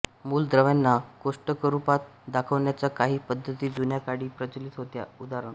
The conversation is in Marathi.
मूलद्रव्यांना कोष्टकरूपात दाखवण्याच्या काही पद्धती जुन्या काळी प्रचलित होत्या उदा